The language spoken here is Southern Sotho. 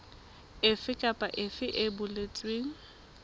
efe kapa efe e boletsweng